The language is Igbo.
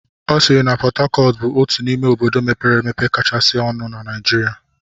Ọ sịịrị na Pọt Hacọt bụ otu n'ime obodo mepere emepe kachasị dị ọnụ na Naijiria.